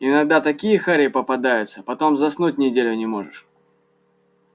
иногда такие хари попадаются потом заснуть неделю не можешь